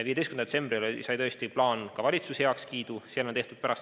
15. detsembril sai plaan ka valitsuselt heakskiidu.